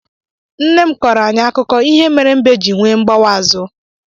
Nne m kọrọ anyị akụkọ ihe mere mbe ji nwe mgbawa azụ.